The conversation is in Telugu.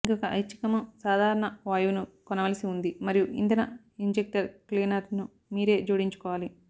ఇంకొక ఐచ్చికము సాధారణ వాయువును కొనవలసి ఉంది మరియు ఇంధన ఇంజెక్టర్ క్లీనర్ను మీరే జోడించుకోవాలి